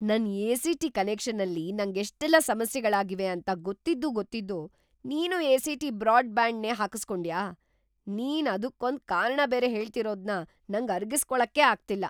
ನನ್ ಎ.ಸಿ.ಟಿ. ಕನೆಕ್ಷನ್ನಲ್ಲಿ ನಂಗೆಷ್ಟೆಲ್ಲ ಸಮಸ್ಯೆಗಳಾಗಿವೆ ಅಂತ ಗೊತ್ತಿದ್ದೂ ಗೊತ್ತಿದ್ದೂ ನೀನೂ ಎ.ಸಿ.ಟಿ. ಬ್ರಾಡ್‌ಬ್ಯಾಂಡ್‌ನೇ ಹಾಕುಸ್ಕೊಂಡ್ಯಾ?! ನೀನ್ ಅದುಕ್ಕೊಂದ್‌ ಕಾರಣ ಬೇರೆ ಹೇಳ್ತಿರೋದ್ನ ನಂಗ್‌ ಅರಗಿಸ್ಕೊಳಕ್ಕೇ ಆಗ್ತಿಲ್ಲ.